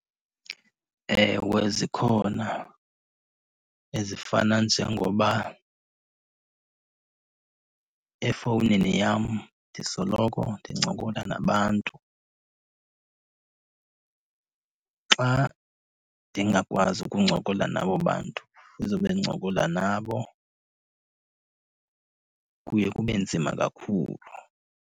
Ewe, zikhona ezifana njengoba efowunini yam ndisoloko ndincokola nabantu. Xa ndingakwazi ukuncokola nabo bantu ndizobe ndincokola nabo kuye kube nzima kakhulu.